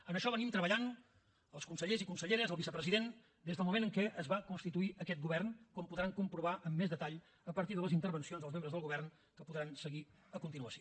en això treballem els consellers i conselleres el vicepresident des del moment en què es va constituir aquest govern com podran comprovar amb més detall a partir de les intervencions dels membres del govern que podran seguir a continuació